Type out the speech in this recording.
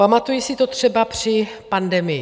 Pamatuji si to třeba při pandemii.